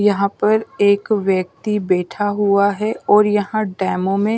यहाँ पर एक व्यक्ति बैठा हुआ है और यहाँ डेमो में--